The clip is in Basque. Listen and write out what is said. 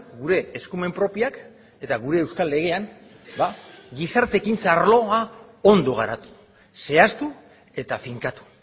gure eskumen propioak eta gure euskal legean gizarte ekintza arloa ondo garatu zehaztu eta finkatu